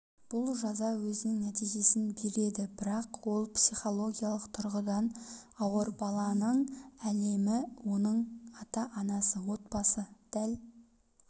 бұл жаза өзінің нәтижесін береді бірақ ол психологиялық тұрғыдан ауыр баланың әлемі оның ата-анасы отбасы дәл